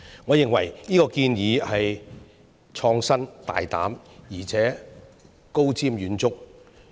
我認為這個建議創新、大膽、而且高瞻遠矚。